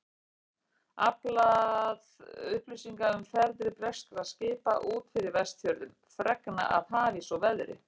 Aflað upplýsinga um ferðir breskra skipa út fyrir Vestfjörðum, fregna af hafís og veðri.